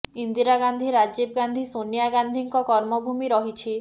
ଇନ୍ଦିରା ଗାନ୍ଧି ରାଜୀବ ଗାନ୍ଧି ସୋନିଆ ଗାନ୍ଧିଙ୍କ କର୍ମଭୂମି ରହିଛି